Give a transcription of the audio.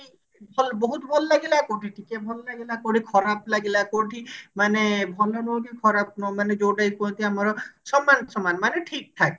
ଭଲ ବହୁତ ଭଲ ଲାଗିଲା କୋଉଠି ଟିକେ ଭଲ ଲାଗିଲା କୋଉଠି ଖରାପ ଲାଗିଲା କୋଉଠି ମାନେ ଭଲ ନୁହଁ କି ଖରାପ ନୁହଁ ମାନେ ଯୋଉଟା କି କୁହନ୍ତି ଆମର ସମାନ ସମାନ ମାନେ ଠିକ ଠାକ